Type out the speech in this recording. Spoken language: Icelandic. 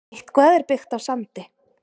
Eitthvað er byggt á sandi